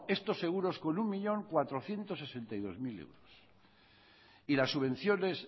estos seguros con un millón cuatrocientos sesenta y dos mil euros y las subvenciones